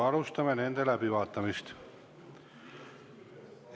Alustame nende läbivaatamist.